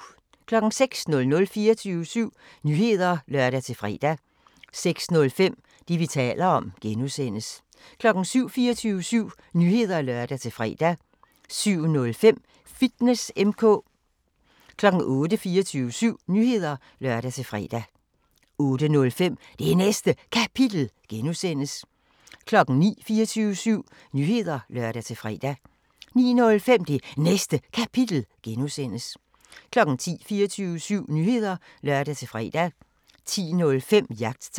06:00: 24syv Nyheder (lør-fre) 06:05: Det, vi taler om (G) 07:00: 24syv Nyheder (lør-fre) 07:05: Fitness M/K 08:00: 24syv Nyheder (lør-fre) 08:05: Det Næste Kapitel (G) 09:00: 24syv Nyheder (lør-fre) 09:05: Det Næste Kapitel (G) 10:00: 24syv Nyheder (lør-fre) 10:05: Jagttegn